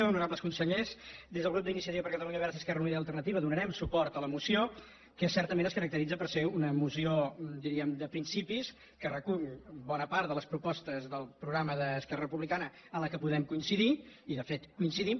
honorables consellers des del grup d’iniciativa per catalunya verds esquerra unida i alternativa donarem suport a la moció que certament es caracteritza per ser una moció diríem de principis que recull bona part de les propostes del programa d’esquerra republicana en què podem coincidir i de fet coincidim